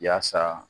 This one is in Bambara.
Yaasa